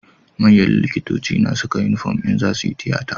Manyan likitoci na Saka inufom idan zasuyi tiyata